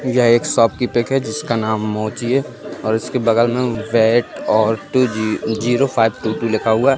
यह एक शॉप की पिक है जिसका नाम मोची है उसके बगल में जीरो फाइव लिखा हुआ है।